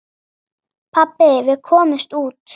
Pabbi, við komumst út!